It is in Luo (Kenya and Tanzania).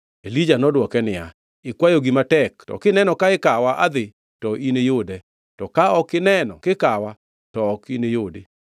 Elija nodwoke niya, “Ikwayo gima tek to kineno ka ikawa adhi, to niyude; to ka ok ineno kikawa, to ok iniyudi.”